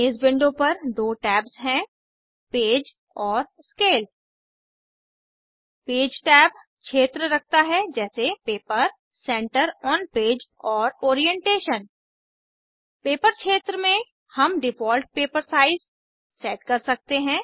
इस विंडो पर दो टैब्स हैं पेज और स्केल पेज टैब क्षेत्र रखता है जैसे पेपर सेंटर ऑन पेज और ओरिएंटेशन पेपर क्षेत्र में हम डिफ़ॉल्ट पेपर साइज सेट कर सकते हैं